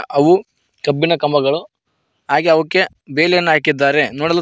ಅವು ಕಬ್ಬಿಣ ಕಂಬಗಳು ಹಾಗೆ ಅವುಕ್ಕೆ ಬೇಲಿಯನ್ನು ಹಾಕಿದ್ದಾರೆ ನೋಡಲು ತುಂ--